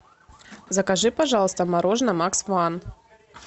закажи пожалуйста мороженое макс ван